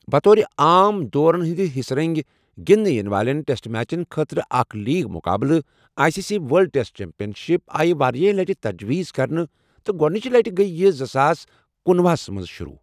بطور عام دورن ہِنٛدِ حصہٕ رٕنگہِ گنٛدٕنہٕ یِنہٕ والین ٹیسٹ میچن خٲطرٕ اکھ لیگ مقابلہٕ، I C C world test championship, آیہِ واریٛاہہِ لٹہِ تَجویٖز کَرنہٕ ، تہٕ گۄڈٕنٕچ لٕٹہِ گیہ یہِ زٕساس کُنۄہ ہَس مَنٛز شروع ۔